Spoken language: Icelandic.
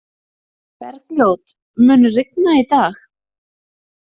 Bergljót, mun rigna í dag?